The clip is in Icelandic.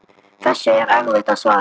Þessu er erfitt að svara.